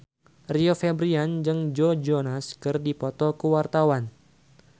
Rio Febrian jeung Joe Jonas keur dipoto ku wartawan